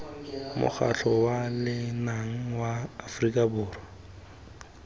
mokgatlho wa lenaga wa aforika